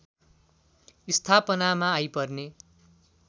स्थापनामा आइपर्ने